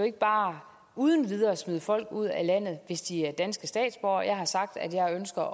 ikke bare uden videre smide folk ud af landet hvis de er danske statsborgere jeg har sagt at jeg ønsker